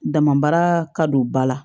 Damabara ka don ba la